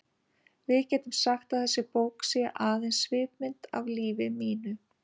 Við getum sagt að þessi bók sé aðeins svipmynd af lífi mínu.